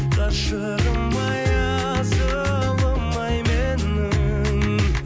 ғашығым ай асылым ай менің